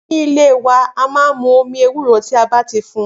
Ni ìlé wà a mà ń mú omi ewuro tan bà ti fùn